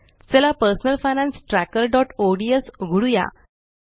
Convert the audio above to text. चला personal finance trackerओडीएस उघडूया